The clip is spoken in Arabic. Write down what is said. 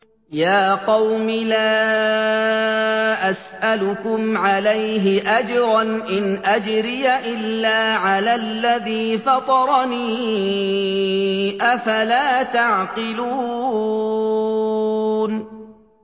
يَا قَوْمِ لَا أَسْأَلُكُمْ عَلَيْهِ أَجْرًا ۖ إِنْ أَجْرِيَ إِلَّا عَلَى الَّذِي فَطَرَنِي ۚ أَفَلَا تَعْقِلُونَ